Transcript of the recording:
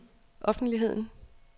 offentligheden